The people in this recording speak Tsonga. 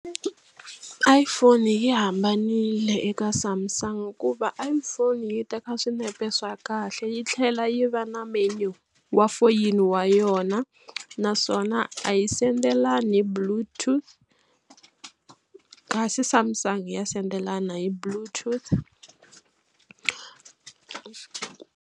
iPhone yi hambanile eka Samsung hikuva iPhone yi teka swinepe swa kahle yi tlhela yi va na menu wa foyini wa yona naswona a yi sendelani hi bluetooth kasi Samsung ya sendela yona hi bluetooth.